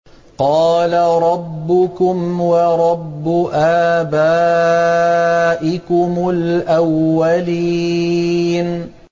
قَالَ رَبُّكُمْ وَرَبُّ آبَائِكُمُ الْأَوَّلِينَ